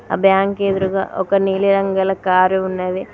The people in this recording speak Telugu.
ఆ బ్యాంక్ ఎదురుగా ఒక నీలి రంగు గల కారు ఉన్నది.